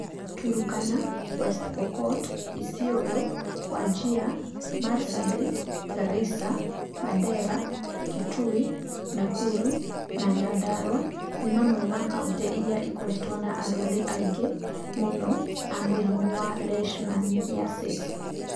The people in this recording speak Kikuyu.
Turkana, West Pokot, ĩsiolo, Wajir, Marsabit, Garissa, Mandera, Kitui, Nakuru na Nyandarua nĩ mamwe ma kaunti iria ikoretwo na arwaru aingĩ mũno a mũrimũ wa Leishmaniasis.